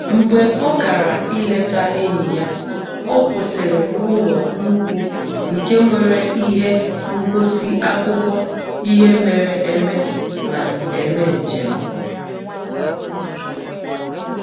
Mgbe ọ gara ileta enyi ya, ọ kwụsịrị n'ụlọ nnukwu nke nwere ihe ngosi akụkọ ihe mere eme na-eme njem